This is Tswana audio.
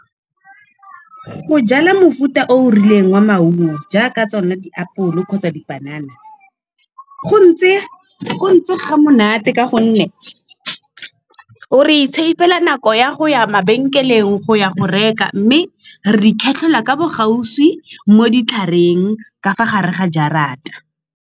Go jala mofuta o o rileng wa maungo jaaka tsone diapole kgotsa dipanana, go ntse ga monate ka gonne re i save-la nako ya go ya mabenkeleng, go ya go reka mme re ikgethela ka bo gaufi mo ditlhareng ka fa gare ga jarata.